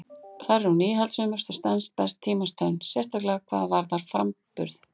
Þar er hún íhaldssömust og stenst best tímans tönn, sérstaklega hvað framburð varðar.